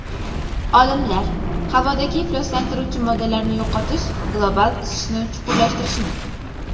Olimlar: Havodagi ifloslantiruvchi moddalarni yo‘qotish global isishni chuqurlashtirishi mumkin.